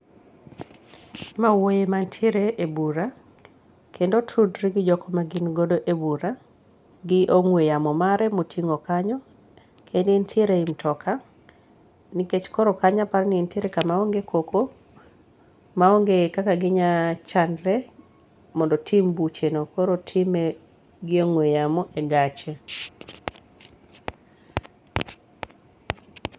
ma wuoi mantiere e bura kendo otudre gi jok ma gin godo e bura gi ongue yamo mare motingo kanyo kendo en tiere ei mtoka koro kanyo aparo ni entiere kama ong'e koko ma ong'e kaka ginyalo chandre mondo otim bucheno koro otime gi ongue yamo e gache